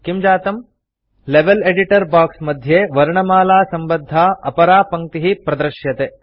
किं जातम् level editor box मध्ये वर्णमालासम्बद्धा अपरा पङ्क्तिः प्रदृश्यते